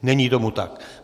Není tomu tak.